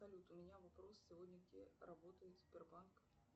салют у меня вопрос сегодня где работает сбербанк